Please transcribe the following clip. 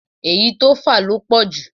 Èyí tó fà ló pọ̀jù